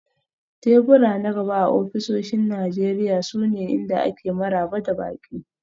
Tebura na gaba a ofisoshin Najeriya sune inda ake maraba da baƙi.